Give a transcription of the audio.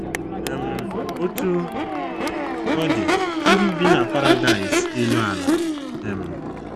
um Otú ọ dị, ndị ibi na paradaịs elu ala um.